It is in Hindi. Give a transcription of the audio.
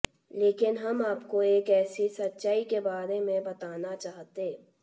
लेकिन हम आपको एक ऐसी सच्चाई के बारे में बताना चाहते